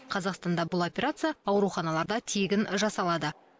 қазақстанда бұл операция ауруханаларда тегін жасалады